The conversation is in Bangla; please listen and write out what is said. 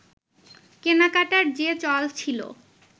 কেনাকাটার যে চল ছিল